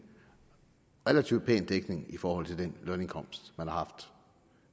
relativt pæn dækning i forhold til den lønindkomst man har haft